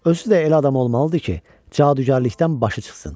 Özü də elə adam olmalı idi ki, cadugarlıqdan başı çıxsın.